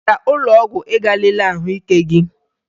Ị gara ụlọọgwụ ịga lelee ahụike gị?